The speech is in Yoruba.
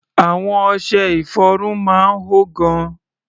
Àwọn ọṣẹ-ìfọrun máa ń hó gan.